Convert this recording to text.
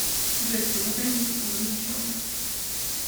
джой перемотай музыку на начало